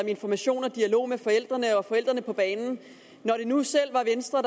information og dialog med forældrene og at forældrene på banen når det nu var venstre